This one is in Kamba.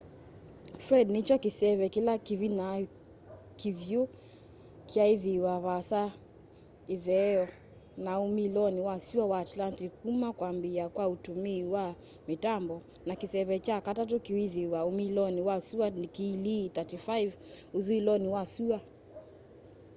fred nĩkyo kĩseve kĩla kĩvĩnya kĩvyũ kyaaĩthĩwa vaasa ĩtheo na ũmĩlonĩ wa sũa wa atlantĩc kũma kwambĩa kwa ũtũmĩĩ wa mitambo na kĩseve kya katatũ kwĩthĩwa ũmĩlonĩ wa sũa ndikilii 35 ũthũĩlonĩ wa sũa